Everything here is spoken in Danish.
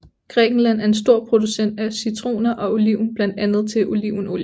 Grækenland er en stor producent af citroner og oliven blandt andet til olivenolie